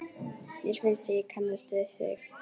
Mér finnst ég kannast við þig!